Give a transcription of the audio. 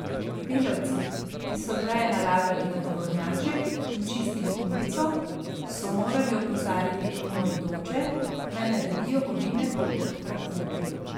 Delavci, ki so veje nalagali na tovornjaček in čistili ulico, so morali opozarjati mimoidoče, naj naredijo ovinek okrog traku.